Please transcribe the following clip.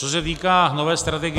Co se týká nové strategie -